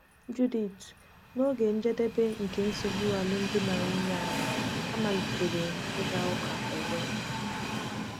Judith: N’oge njedebe nke nsogbu alụmdi na nwunye anyị, amalitere m ịga ụka ọzọ.